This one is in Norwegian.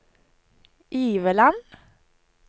Iveland